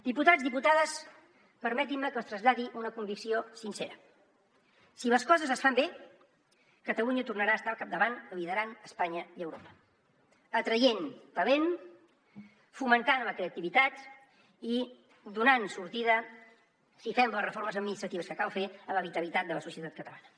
diputats i diputades permetin me que els traslladi una convicció sincera si les coses es fan bé catalunya tornarà a estar al capdavant liderant espanya i europa atraient talent fomentant la creativitat i donant sortida si fem les reformes administratives que cal fer a la vitalitat de la societat catalana